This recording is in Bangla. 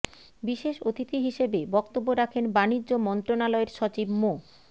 বিশেষ অতিথি হিসেবে বক্তব্য রাখেন বাণিজ্য মন্ত্রণালয়ের সচিব মো